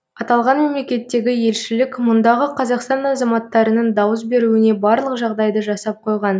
аталған мемлекеттегі елшілік мұндағы қазақстан азаматтарының дауыс беруіне барлық жағдайды жасап қойған